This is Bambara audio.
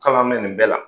K'a bɛ nin bɛɛ la